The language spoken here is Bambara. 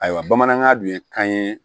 Ayiwa bamanankan dun ye kan ye